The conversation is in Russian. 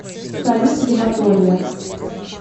салют ебатория